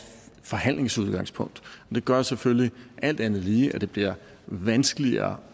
forhandlingsudgangspunkt det gør selvfølgelig alt andet lige at det bliver vanskeligere